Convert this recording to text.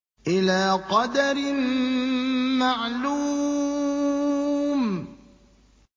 إِلَىٰ قَدَرٍ مَّعْلُومٍ